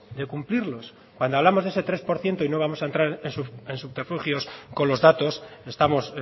de cumplirlos cuando hablamos de ese tres por ciento y no vamos a entrar en subterfugios con los datos estamos